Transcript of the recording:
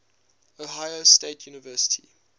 ohio state university